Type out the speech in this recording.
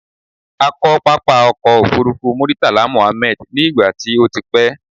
A kọ́ pápá ọkọ̀ òfurufú Muritala Mohammed ní ìgbà tí o ti pẹ́